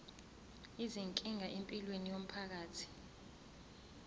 izinkinga empilweni yomphakathi